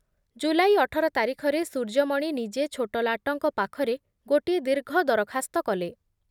ଜୁଲାଇ ଅଠର ତାରିଖରେ ସୂର୍ଯ୍ୟମଣି ନିଜେ ଛୋଟଲାଟଙ୍କ ପାଖରେ ଗୋଟିଏ ଦୀର୍ଘ ଦରଖାସ୍ତ କଲେ ।